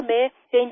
sir मैं ST